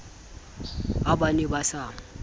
ha ba ne ba sa